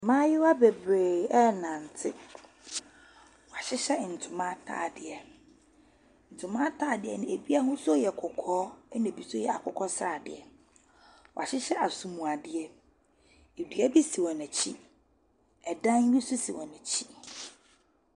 Mmaayewa bebree ɛrenante, ɔahyehyɛ ntoma ataadeɛ, ntoma ataadeɛ no bi ahosuo yɛ kɔkɔɔ na bi nso yɛ akokɔsradeɛ. Wɔahyehyɛ asomuadeɛ, nnua bi si wɔn akyi, dan bi nso si wɔn akyi.